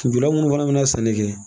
Minnu fana bɛ na sanni kɛ